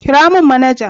Kira mun manaja